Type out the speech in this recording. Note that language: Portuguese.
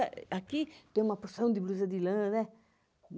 Aqui tem uma porção de blusa de lã, né?